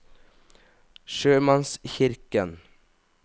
sjømannskirken